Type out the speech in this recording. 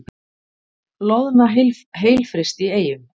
Loðna heilfryst í Eyjum